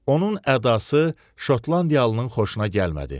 Onun ədası Şotlandiyalının xoşuna gəlmədi.